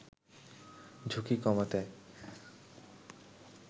ঝুঁকি কমাতে